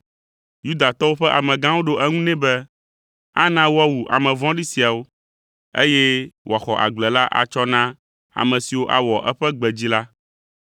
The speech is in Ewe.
Yudatɔwo ƒe amegãwo ɖo eŋu nɛ be, “Ana woawu ame vɔ̃ɖi siawo, eye wòaxɔ agble la atsɔ na ame siwo awɔ eƒe gbe dzi la.”